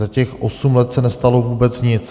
Za těch osm let se nestalo vůbec nic.